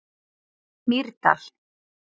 Mýrdal